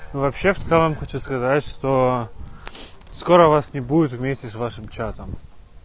ну вообще в целом хочу сказать что скоро вас не будет вместе с вашим чатом